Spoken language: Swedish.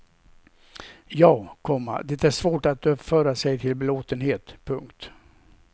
Ja, komma det är svårt att uppföra sig till belåtenhet. punkt